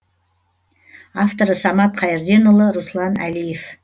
авторы самат қайырденұлы руслан әлиев